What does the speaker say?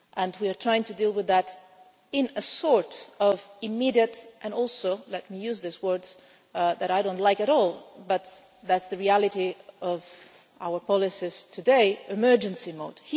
We are trying to deal with that in a sort of immediate and also let me use this word that I do not like at all, but that is the reality of our policies today emergency mode.